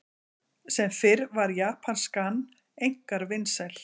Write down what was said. Sem fyrr var japanskan einkar vinsæl.